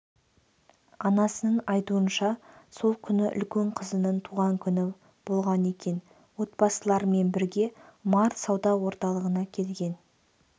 анасының айтуынша сол күні үлкен қызының туған күні болған екен отбасыларымен бірге март сауда орталығына келген